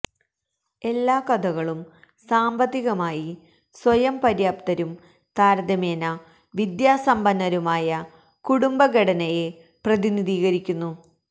എല്ലാ കഥകളും സാമ്പത്തികമായി സ്വയം പര്യാപ്തരും താരതമ്യേന വിദ്യാസമ്പന്നരുമായ കുടുംബ ഘടനയെ പ്രതിനിധീകരിക്കുന്നു